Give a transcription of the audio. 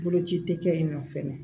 Boloci tɛ kɛ yen nɔ fɛnɛ